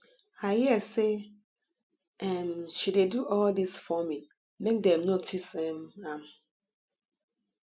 i hear say um she dey do all dis forming make dem notice um am